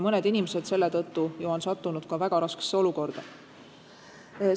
Mõned inimesed on selle tõttu sattunud väga raskesse olukorda.